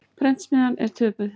Prentsmiðjan er töpuð.